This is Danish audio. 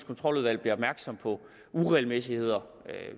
kontroludvalg bliver opmærksom på uregelmæssigheder